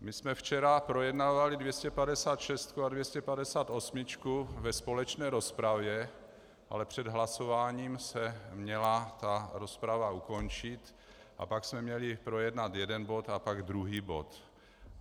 My jsme včera projednávali 256 a 258 ve společné rozpravě, ale před hlasováním se měla ta rozprava ukončit a pak jsme měli projednat jeden bod a potom druhý bod.